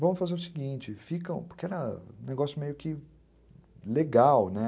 Vamos fazer o seguinte, fica porque era um negócio meio que legal, né?